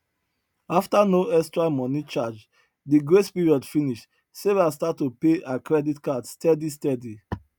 after no extra money charge the grace period finish sarah start to pay her credit card steady steady